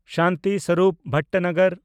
Shanti Swarup Bhatnagar